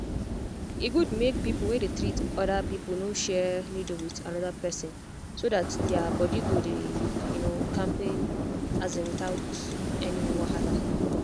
e good make people wey dey treat other people no share needle with another person so that their body go dey um kampe um without any wahala.